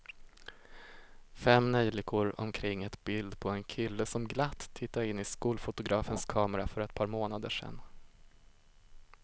Fem neljikor omkring ett bild på en kille som glatt tittade in i skolfotografens kamera för ett par månader sedan.